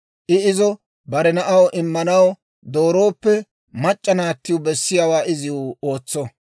I izo bare na'aw immanaw doorooppe, mac'c'a naattiw bessiyaawaa iziw ootso.